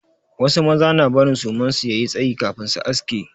Wasu maza na barin suman su ya yi tsayi kafin su aske.